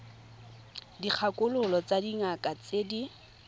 dikgakololo tsa dingaka tse di